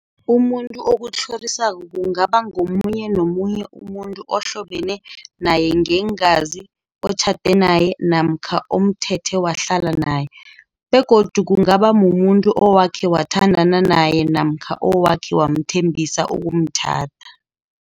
Umuntu okutlhorisako kungaba ngomunye nomunye umuntu ohlobene nayengeengazi, otjhade naye namkha omthethe wahlala naye. Begodu kungaba mumuntu owakhe wathandana naye namkha owakhe wamthembisa ukumtjhada.